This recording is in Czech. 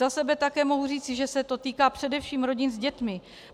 Za sebe také mohu říci, že se to týká především rodin s dětmi.